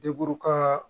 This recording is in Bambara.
Deburu ka